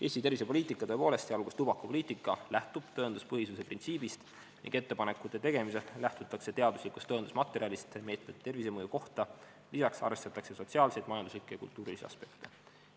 " Eesti tervisepoliitika, tõepoolest, sh tubakapoliitika lähtub tõenduspõhisuse printsiibist ning ettepanekute tegemisel lähtutakse teaduslikust tõendusmaterjalist , lisaks arvestatakse sotsiaalseid, majanduslikke ja kultuurilisi aspekte.